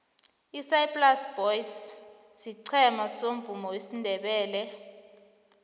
isaai plaas boys siqhema somvumo wesindebele